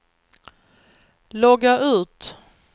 logga ut